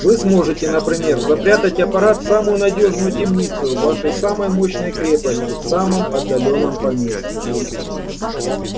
вы сможете например запрятать аппарат в самую надёжную темницу вашей самой мощной крепости в самом отдалённом поместье